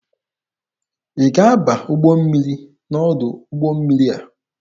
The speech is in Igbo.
Ị ga-aba ụgbọ mmiri n'ọdụ ụgbọ mmiri a!